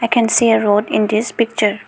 we can see a road in this picture.